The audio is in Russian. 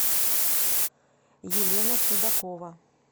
елена судакова